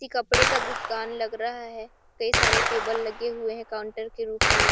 इ कपड़े का दुकान लग रहा है कई सारे टेबल लगे हुए हैं काउंटर के रूप में --